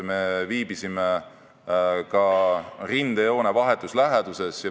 Me viibisime ka rindejoone vahetus läheduses.